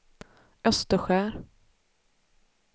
Österskär